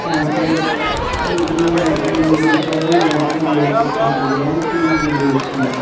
यहां पर एक मंदिर सा है और यहां पर बहुत अच्छा सज रहा है और तीन गेट से हैं।